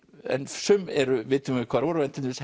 sum vitum við hvar voru en til dæmis